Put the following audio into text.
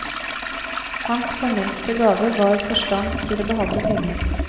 Hans fornemste gave var forstand til å behandle penger.